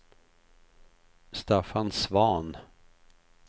Staffan Svahn